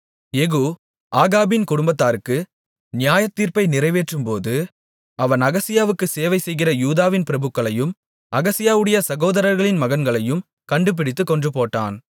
யெகூ ஆகாபின் குடும்பத்தாருக்கு நியாயத்தீர்ப்பை நிறைவேற்றும்போது அவன் அகசியாவுக்கு சேவை செய்கிற யூதாவின் பிரபுக்களையும் அகசியாவுடைய சகோதரர்களின் மகன்களையும் கண்டுபிடித்துக் கொன்றுபோட்டான்